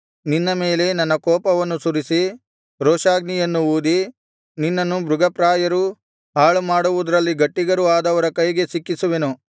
ನಿನ್ನ ಮೇಲೆ ನನ್ನ ಕೋಪವನ್ನು ಸುರಿಸಿ ರೋಷಾಗ್ನಿಯನ್ನು ಊದಿ ನಿನ್ನನ್ನು ಮೃಗಪ್ರಾಯರೂ ಹಾಳುಮಾಡುವುದರಲ್ಲಿ ಗಟ್ಟಿಗರೂ ಆದವರ ಕೈಗೆ ಸಿಕ್ಕಿಸುವೆನು